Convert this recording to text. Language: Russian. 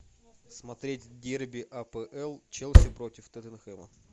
смотреть дерби апл челси против тоттенхэма